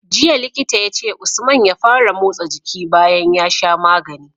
Jiya Likita yace usman ya fara motsa jiki bayan ya sha magani